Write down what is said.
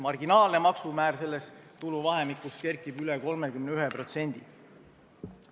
Maksimaalne maksumäär selles tuluvahemikus kerkib üle 31%.